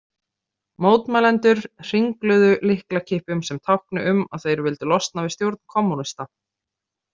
Mótmælendur hringluðu lyklakippum sem tákni um að þeir vildu losna við stjórn kommúnista.